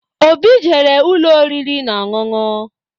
Óbị jere ụlọ oriri na-ọṅụṅụ.